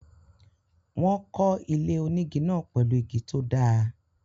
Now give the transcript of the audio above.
Wọ́n ko ilé onígi náà pèlú igi tó dáa